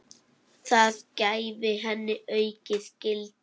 Það gæfi henni aukið gildi.